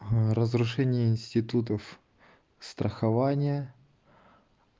разрушение институтов страхования